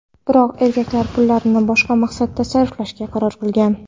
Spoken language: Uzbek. Biroq erkak pullarni boshqa maqsadda sarflashga qaror qilgan.